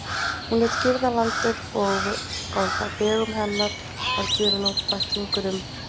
Hún lét girða landið, og á vegum hennar var gefinn út bæklingur um